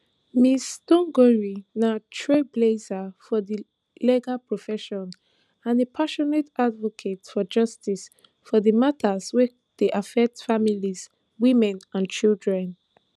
ms thongori na trailblazer for di legal profession and a passionate advocate for justice for di matters wey dey affect families women and children